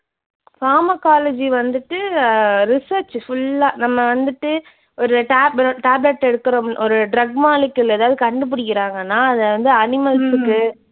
pharmacology வந்துட்டு அஹ் research full ஆ நம்ம வந்துட்டு ஒரு tablet, tablet எடுக்குறோம் ஒரு drug molecular ஏதாவது கண்டுபிடிக்குறாங்கன்னா அதை வந்து animals கு